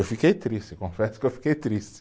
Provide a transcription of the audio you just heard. Eu fiquei triste, confesso que eu fiquei triste.